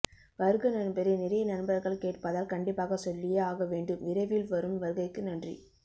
வருக நண்பரே நிறைய நண்பர்கள் கேட்பதால் கண்டிப்பாக சொல்லியே ஆக வேண்டும் விரைவில் வரும் வருகைக்கு நன்றி